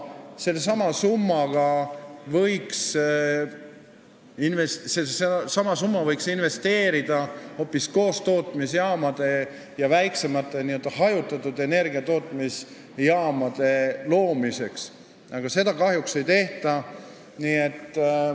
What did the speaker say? Selle summa võiks investeerida hoopis koostootmisjaamade ja väiksemate, n-ö hajutatud energiatootmise jaamade rajamiseks, aga seda kahjuks ei tehta.